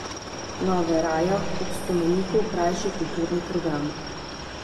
Na Varejah ob spomeniku krajši kulturni program.